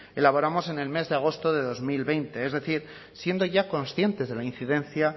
elaboramos en el mes de agosto de dos mil veinte es decir siendo ya conscientes de la incidencia